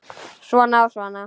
Svona og svona.